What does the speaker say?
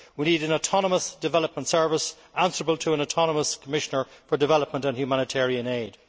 We need an autonomous development service answerable to an autonomous Commissioner for Development and Humanitarian Aid.